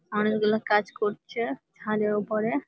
অনকে গুলো কাজ করছে ছাদের উপরে।